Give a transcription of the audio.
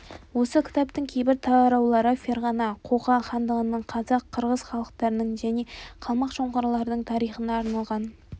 осы кітаптың кейбір тараулары ферғана қоқан хандығының қазақ қырғыз халықтарының және қалмақ-жоңғарлардың тарихына арналған